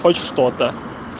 хоть что-то